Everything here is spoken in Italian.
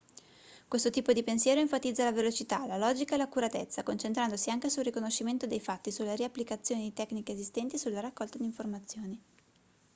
questo tipo di pensiero enfatizza la velocità la logica e l'accuratezza concentrandosi anche sul riconoscimento dei fatti sulla riapplicazione di tecniche esistenti e sulla raccolta di informazioni